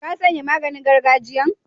Ka sanye maganin gargajiyan?